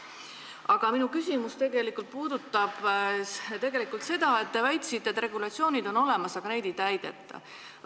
Aga minu küsimus puudutab seda, et te väitsite, et regulatsioonid on olemas, aga neid ei täideta.